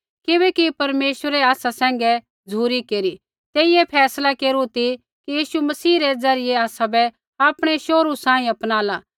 किबैकि परमेश्वरै आसा सैंघै झ़ुरी केरी तेइयै फैसला केरू ती कि यीशु मसीह रै ज़रियै आसाबै आपणै शोहरू सांही अपनाला